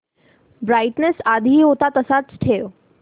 brightness आधी होता तसाच ठेव